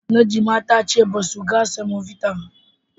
Najma ta ce basu ga Samobita ba.